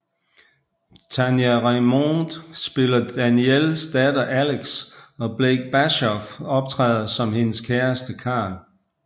Tania Raymonde spiller Danielles datter Alex og Blake Bashoff optræder som hendes kæreste Karl